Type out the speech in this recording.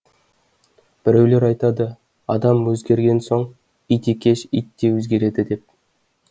біреулер айтады адам өзгерген соң ит екеш ит те өзгереді деп